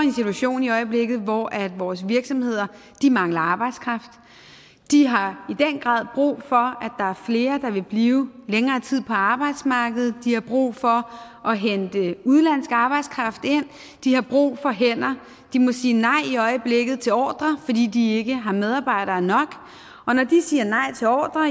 en situation i øjeblikket hvor vores virksomheder mangler arbejdskraft de har i den grad brug for at er flere der vil blive længere tid på arbejdsmarkedet de har brug for at hente udenlandsk arbejdskraft ind de har brug for hænder de må sige nej i øjeblikket til ordrer fordi de ikke har medarbejdere nok og når de siger nej til ordrer